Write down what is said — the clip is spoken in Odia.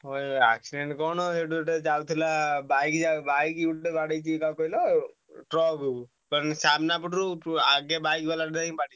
ହଁ ଏଇ accident କଣ ଏଇଠି ଗୋଟେ ଯାଉଥିଲା bike ଯାଉ bike ଗୋଟେ ବାଡ଼େଇଛି କଣ କହିଲ truck କୁ, ମାନେ ସାମ୍ନା ପଟରୁ ଉ ଆଗେ bike ବାଲାଟା ଯାଇ ବାଡ଼େଇଛି।